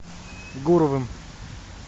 гуровым